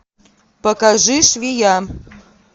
покажи швея